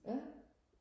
ja